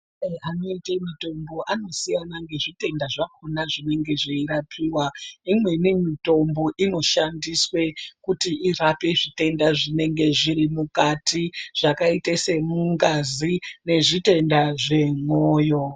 Mashandire anoita mitombo anosiyana nezvitenda zvakona pazvinenge zveirapiwa imweni mitombo inoshandiswa kuti irape zvitenda zvinenge zviri mukati zvakaita semungazi nezvitenda zvemoyo.